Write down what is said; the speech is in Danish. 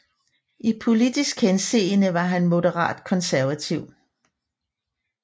I politisk henseende var han moderat konservativ